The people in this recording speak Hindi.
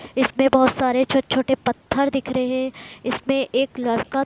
इसमें बहोत सारे छोटे-छोटे पत्थर दिख रहे है इसमें एक लड़का --